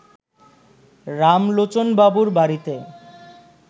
রামলোচনবাবুর বাড়িতে